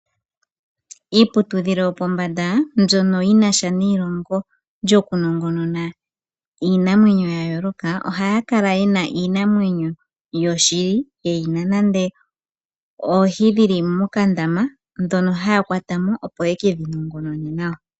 Iiputudhilo yopombanda mbyono yinasha neyilongo lyokunongonona iinamwenyo yayooloka, ohaya kala yena iinamwenyo yoshili ye yina nande oohi dhili mokandama dhono haya kwatamo opo ye kedhinongonone nawa.